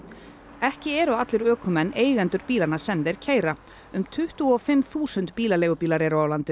ekki eru allir ökumenn eigendur bílanna sem þeir keyra um tuttugu og fimm þúsund bílaleigubílar eru á landinu